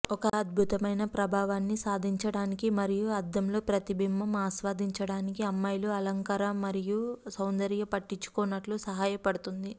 ఒక అద్భుతమైన ప్రభావాన్ని సాధించటానికి మరియు అద్దం లో ప్రతిబింబం ఆస్వాదించడానికి అమ్మాయిలు అలంకార మరియు సౌందర్య పట్టించుకోనట్లు సహాయపడుతుంది